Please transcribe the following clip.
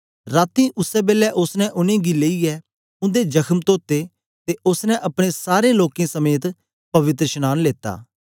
रातीं उसै बेलै ओसने उनेंगी लेईयै उन्दे जखम धोते ते ओसने अपने सारें लोकें समेत पवित्रशनांन लेता